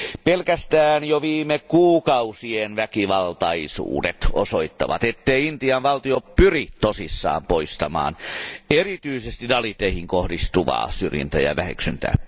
Pelkästään jo viime kuukausien väkivaltaisuudet osoittavat, ettei Intian valtio pyri tosissaan poistamaan erityisesti daliteihin kohdistuvaa syrjintää ja väheksyntää.